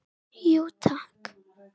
Jú takk